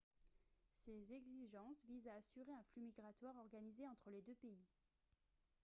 ces exigences visent à assurer un flux migratoire organisé entre les deux pays